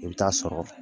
I bɛ taa sɔrɔ